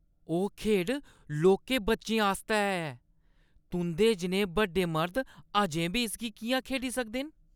ओह् खेढ लौह्के बच्चें आस्तै ऐ। तुंʼदे जनेह् बड्डे मर्द अजें बी इसगी किʼयां खेढी सकदे न?